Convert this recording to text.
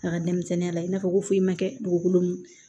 A ka denmisɛnninya la i n'a fɔ ko foyi ma kɛ dugukolo min na